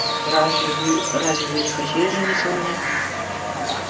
разве вы разве вы не хотели жениться на мне